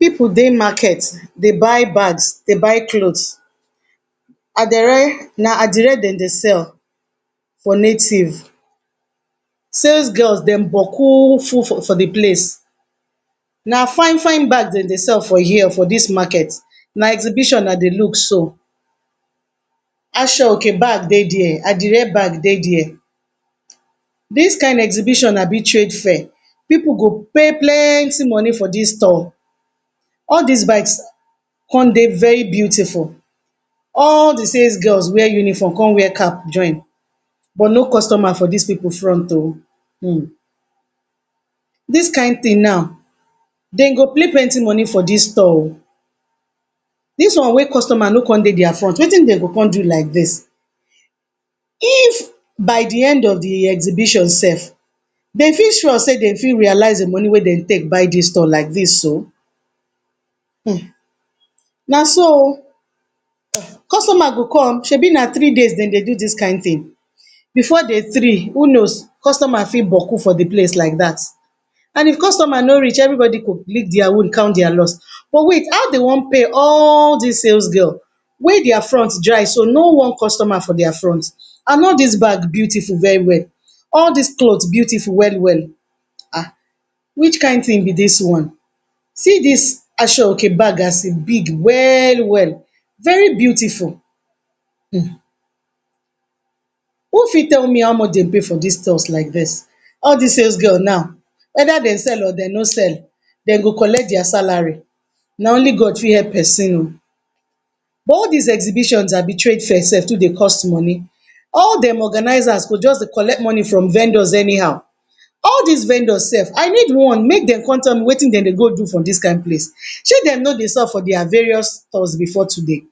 Pipu dey market dey buy bags dey buy clothes, na adire dem dey sell for native, sales girls dem Boku full for de place, na fine fine bags dem dey sell for dis market, na exhibition I dey look so, asoeke bag dey there, adire bag dey there. This kind exhibition Abi trade fair pipu go pay plenty money for dis stall, all dis bags con dey very beautiful, all de sales girls wear uniform con wear cap join, but no customer for dis pipu front oh, um dis kind thing now dem go pay plenty money for dis stall oh, dis one wey customer no con dey dis front Wetin dem go con do like dis, if by de end of de exhibition sef dem fit sure set dem fit realize de money wey dem take buy dis stall like dis so, um naso oh, customer go come, shebi na three days dem dey do dis mind thing, before day three who knows customers for Boku for de place like dat, and if customer no reach everybody go lick dia own count dis loss, but wait how dem wan pay all dis sales girls wey dia front dry so no one customer for dia front and all dis bag beautiful well well, all dis clothes beautiful well well, ah which kind thing be dis one, see dis asoeke bag as e big well well, very beautiful um, who fit tell me how much dem pay for dis stalls like dis, all dis sales girls now wether dem sell or dem no sell dem go collect dia salary, na only God fit help persin o, but all dis exhibition Abi trade fair sef too dey cost money, all dem organizers go jus dey collect money from vendors anyhow, all dis vendors sef I need one make dem com tell me Wetin dem dey go do for dis kind place, Shey dem no dey sell for dia various stores before today,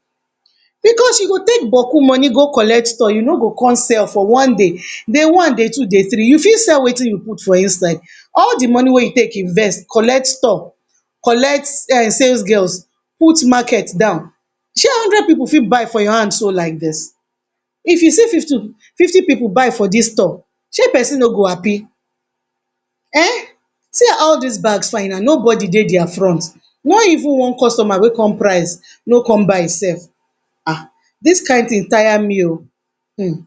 because u go take Boku money go collect stall u no go con sell for one day, day one, day two, day three u fit sell Wetin u put for inside, all de money wey u take invest collect stall collect sales girls put market down, Shey hundred pipu fit buy for your hand so like dis, if u see fifty pipu buy for dis stall Shey persin no go happy um see how dis bags fine and nobody dey dia front no even one customer wey come price wey come buy sef um dis kind thing tire me oh, um.